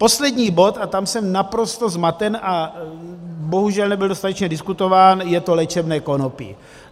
Poslední bod, a tam jsem naprosto zmaten a bohužel nebyl dostatečně diskutován, je to léčebné konopí.